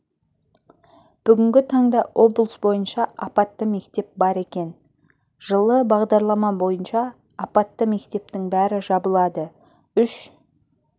бүгінгі таңда облыс бойынша апатты мектеп бар екен жылы бағдарлама бойынша апатты мектептің бәрі жабылады үш